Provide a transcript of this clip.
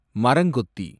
மரங்கொத்தி